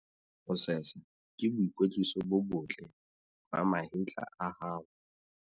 Ho sesa ke boikwetliso bo botle ba mahetla a hao.